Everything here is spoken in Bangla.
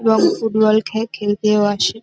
এবং ফুটবল খে খেলতেও আসে।